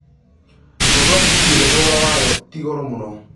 kombora tegithi ĩria thogora wayo tigoro mũno